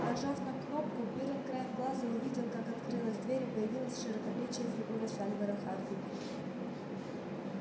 нажав на кнопку пиренн краем глаза увидел как открылась дверь и появилась широкоплечая фигура сальвора хардина